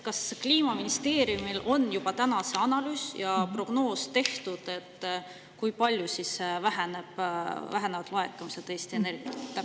Kas Kliimaministeeriumil on juba tehtud analüüs ja prognoos, kui palju siis vähenevad laekumised Eesti Energialt?